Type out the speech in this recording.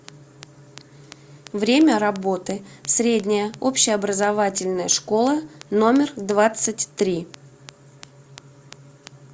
время работы средняя общеобразовательная школа номер двадцать три